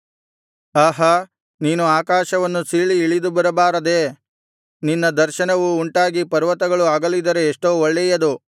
ಆಹಾ ನೀನು ಆಕಾಶವನ್ನು ಸೀಳಿ ಇಳಿದು ಬರಬಾರದೇ ನಿನ್ನ ದರ್ಶನವು ಉಂಟಾಗಿ ಪರ್ವತಗಳು ಅಗಲಿದರೆ ಎಷ್ಟೋ ಒಳ್ಳೆಯದು